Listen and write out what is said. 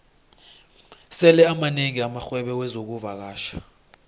sele amanengi amarhwebo wexkuvakatjha